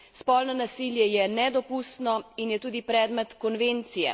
Spolno nasilje je nedopustno in je tudi predmet konvencije.